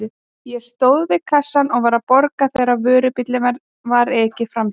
Ég stóð við kassann og var að borga þegar vörubíl var ekið framhjá.